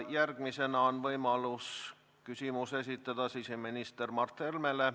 Järgmisena on võimalik esitada küsimus siseminister Mart Helmele.